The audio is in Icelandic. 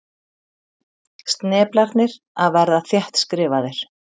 Sneplarnir að verða þéttskrifaðir.